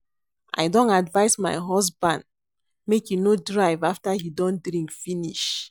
I don advice my husband make he no drive after he don drink finish